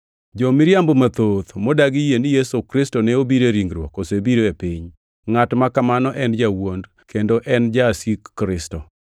Jo-miriambo mathoth, modagi yie ni Yesu Kristo ne obiro e ringruok, osebiro e piny. Ngʼat ma kamano en jawuond, kendo en e Jasik Kristo.